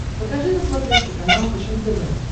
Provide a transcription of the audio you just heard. покажи на смотрешке канал фэшен тв